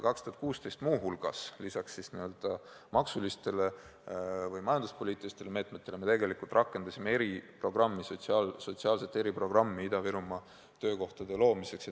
2016. aastal me lisaks maksu- või majanduspoliitilistele meetmetele tegelikult rakendasime eriprogrammi, sotsiaalse eriprogrammi Ida-Virumaal töökohtade loomiseks.